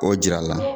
O jira a la